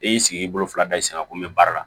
E y'i sigi i bolo fila da i sen kan ko n bɛ baara la